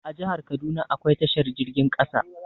A jahar kaduna akwai tashar jirgin ƙasa